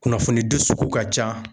Kunnafoni di sugu ka ca